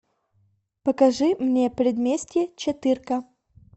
покажи мне предместье четырка